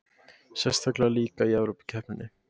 Sérstaklega líka í Evrópukeppninni.